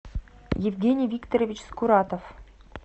евгений викторович скуратов